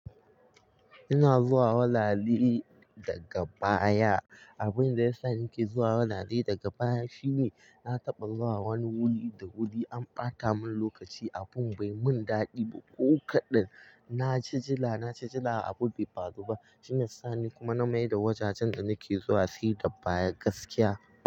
Ina zuwa walale daga baya. Abin da ya sa nake zuwa wulale daga baya shine na taɓa zuwa wani wuli da wuli an ɓata mun lokaci, abun bai mun daɗi ba. Ko kaɗan na ci jila, na ci jila abun bai faru ba shine sani kuma na maida wajajen da nake zuwa siga baya gaskiya.